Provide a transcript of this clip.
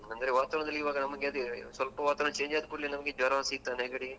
ಅಂದ್ರೆ ವಾತಾವರದಲ್ಲಿ ಇವಾಗ ನಮಗೆ ಅದೇ ಸ್ವಲ್ಪ ವಾತಾವರಣ change ಆದ್ರೆ ಕೂಡ್ಲೆ ನಮ್ಗೆ ಜ್ವರ, ಶೀತ, ನೆಗಡಿ.